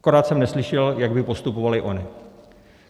Akorát jsem neslyšel, jak by postupovali oni.